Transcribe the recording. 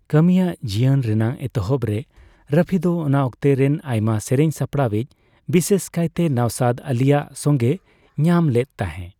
ᱠᱟᱹᱢᱤᱭᱟᱹ ᱡᱤᱭᱚᱱ ᱨᱮᱱᱟᱜ ᱮᱛᱚᱦᱚᱵ ᱨᱮ ᱨᱚᱯᱷᱤ ᱫᱚ ᱚᱱᱟ ᱚᱠᱛᱮ ᱨᱮᱱ ᱟᱭᱢᱟ ᱥᱮᱨᱮᱧᱼᱥᱟᱯᱲᱟᱣᱤᱡ, ᱵᱤᱥᱮᱥ ᱠᱟᱭᱛᱮ ᱱᱚᱣᱥᱟᱫ ᱟᱞᱤᱭᱟᱜ ᱥᱚᱸᱜᱮᱭ ᱧᱟᱢ ᱞᱮᱫ ᱛᱟᱸᱦᱮ ᱾